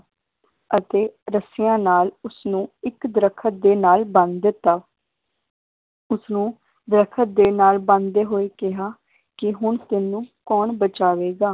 ਅਤੇ ਰੱਸੀਆਂ ਨਾਲ ਉਸਨੂੰ ਇੱਕ ਦਰਖਤ ਦੇ ਨਾਲ ਬੰਨ ਦਿੱਤਾ ਉਸਨੂੰ ਦਰਖਤ ਦੇ ਨਾਲ ਬੰਨਦੇ ਹੋਏ ਕਿਹਾ, ਕਿ ਹੁਣ ਤੈਨੂੰ ਕੌਣ ਬਚਾਵੇਗਾ?